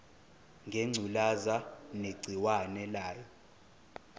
ngengculazi negciwane layo